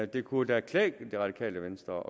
det kunne klæde det radikale venstre